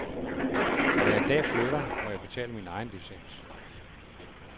Når jeg en dag flytter, må jeg betale min egen licens.